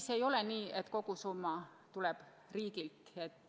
See ei ole nii, et kogu summa tuleb riigilt.